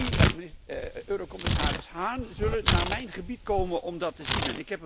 Tajani, eurocommissaris Hahn zullen naar mijn gebied komen om dat te zien.